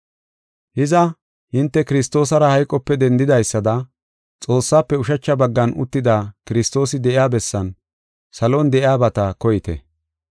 Hiza, hinte Kiristoosara hayqope dendidaysada, Xoossaafe ushacha baggan uttida Kiristoosi de7iya bessan, salon de7iyabata koyite.